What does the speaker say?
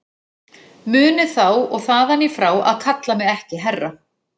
Munið þá og þaðan í frá að kalla mig ekki herra.